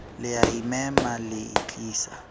le a imema le itlisa